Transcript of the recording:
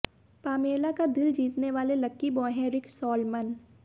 Pamela का दिल जीतने वाले लकी बॉय हैं रिक सॉलमन